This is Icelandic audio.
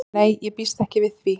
Nei ég býst ekki við því.